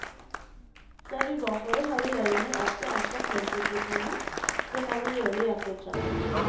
Ser vi bakover har regjeringer alltid anslått lønnsutviklingen, det må de gjøre i et budsjett.